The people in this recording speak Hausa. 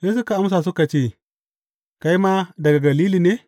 Sai suka amsa suka ce, Kai ma daga Galili ne?